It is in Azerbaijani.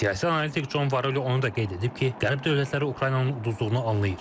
Siyasi analitik Con Varoli onu da qeyd edib ki, qərb dövlətləri Ukraynanın uduzduğunu anlayır.